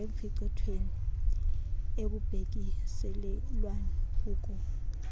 ekuphicothweni ekubhekiselelwa kuko